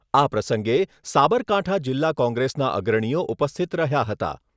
આ પ્રસંગે સાબરકાંઠા જિલ્લા કોંગ્રેસના અગ્રણીઓ ઉપસ્થિત રહ્યા હતા.